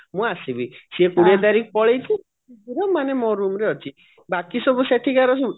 ମୁଁ ଆସିବି ସେ କୋଡିଏ ତାରିଖ ପଳେଇଛି room ମାନେ ମୋ room ରେ ଅଛି ବାକି ସବୁ ସେଠିକାର ଯୋଉ